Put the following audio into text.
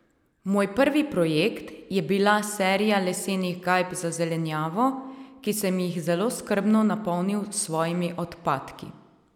Moj prvi projekt je bila serija lesenih gajb za zelenjavo ki sem jih zelo skrbno napolnil s svojimi odpadki.